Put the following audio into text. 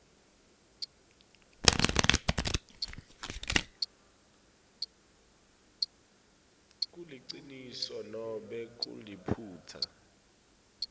kuliciniso nobe kuliphutsa